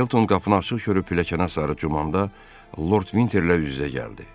Felton qapını açıq görüb pilləkənə sarı cumanda Lord Vinterlə üz-üzə gəldi.